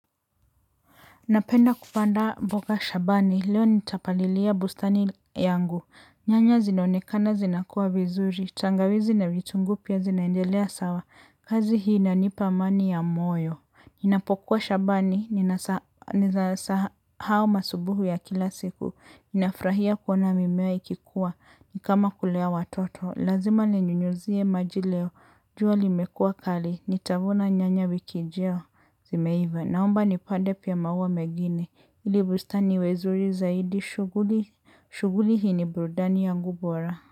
Napenda kupanda mboga shambani, leo nitapalilia bustani yangu, nyanya zinaonekana zinakuwa vizuri, tangawizi na vitunguu pia zinaendelea sawa, kazi hii inanipa amani ya moyo. Ninapokuwa shambani, ninasahau masubuhu ya kila siku, ninafurahia kuona mimea ikikua, ni kama kulea watoto, lazima ninyunyuzie maji leo, jua limekua kali, nitavuna nyanya wiki ijayo, zimeiva, naomba nipande pia maua mengini, ili bustani iwe zuri zaidi, shughuli hii ni burudani yangu bora.